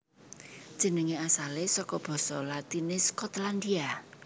Jenengé asalé saka basa Latiné Skotlandia